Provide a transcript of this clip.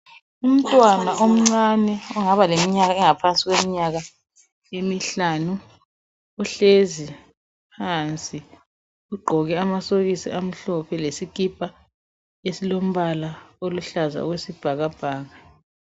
Umntwana omncane ongaba leminyama engaphansi kweminyaka emihlanu uhlezi phansi ugqoke amasokisi amhlophe lesikhipha esilombala oluhlaza okwesibhakabhaka